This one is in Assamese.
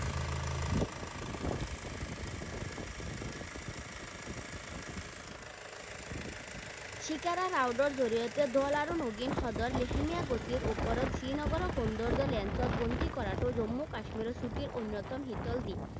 জৰিয়তে আৰু ডাল আৰু নগিন হ্ৰদৰ লেহেমীয়া গতিৰ ওপৰত শ্ৰীনগৰৰ সৌন্দৰ্য lens ত বন্দী কৰাতো জম্মু কাশ্মীৰৰ ছুটীৰ অন্যতম শীতল দিন।